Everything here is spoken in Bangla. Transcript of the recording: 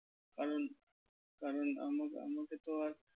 কারণ কারণ আমা~ আমাকে তো আর